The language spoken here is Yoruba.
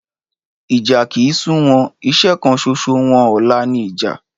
Ìjà kì ń sú wọn. Iṣẹ́ kan ṣoṣo wọn ọ̀la ni ìjà.